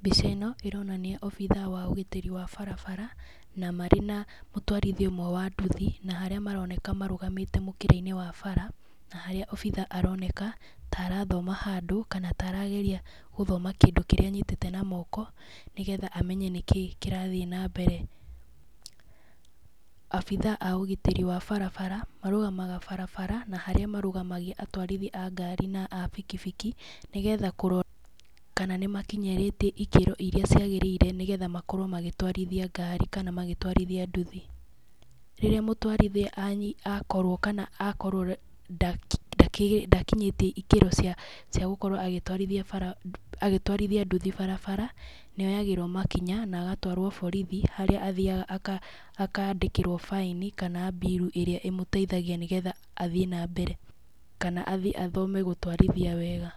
Mbica ĩno, ĩronania obithaa wa ũgitĩri wa barabara, na marĩ na mũtwarithia ũmwe wa nduthi. Na harĩa maroneka marũgamĩte mũkĩra-inĩ wa bara, na harĩa obithaa aroneka, ta arathoma handũ, kana ta arageria gũthoma kĩndũ kĩrĩa anyitĩte na moko nĩgetha amenya nĩ kĩ kĩrathiĩ na mbere. Abithaa a ũgitĩri wa barabara, marũgamaga barabara, na harĩa marũgamagia atũarithi a ngari na bikibiki, nĩgetha kũrora kana nĩ makĩnyĩrĩtie ikĩro irĩa ciagĩrĩire, nĩgetha makorwo magĩtwarithia ngari kana magĩtwarithia nduthi. Rĩrĩa mũtwarithia akorwo kana akorwo ndakinyĩtie ikĩro cia cia gũkorwo agĩtwarithia bara agaĩtwarithia nduthi barabara, nĩ oyagĩrwo makinya, na agatwarwo borithi, harĩa athiaga akandĩkĩrwo baĩni kana mbiru ĩrĩa ĩmũteithagia nĩgetha athiĩ na mbere. Kana athi athome gũtwarithia wega.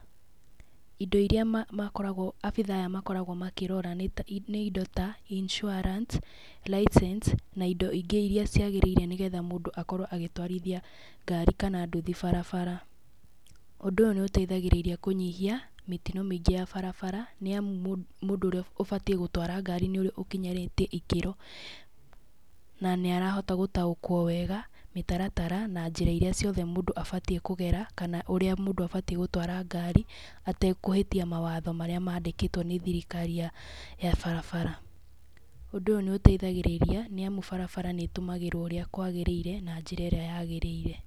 Indo irĩa makoragwo abithaa aya makoragwo makĩrora nĩ ta nĩ indo ta insurance, license, na indo ingĩ irĩa ciagĩrĩire nĩgetha mũndũ akorwo agĩtwarithia ngari kana nduthi barabara. Ũndũ ũyũ nĩ ũteithagĩrĩria kũnyihia mĩtino mĩingĩ ya barabara nĩ amu mũndũ ũrĩa ũbatiĩ gũtwara ngari nĩ ũrĩa ũkinyarĩtie ikĩro. Na nĩ arahota gũtaũkwo wega, mĩtaratara na njĩra irĩa ciothe mũndũ abatiĩ kũgera kana ũrĩa mũndũ abatiĩ gũtwara ngari, atekũhĩtie mawatho marĩa mandĩkĩtwo nĩ thirkari ya ya barabara. Ũndũ ũyũ nĩ ũteithagĩrĩria, nĩ amu barabara nĩ ĩtũmagĩrwo ũrĩa kwagĩrĩire, na njĩra ĩrĩa yagĩrĩire.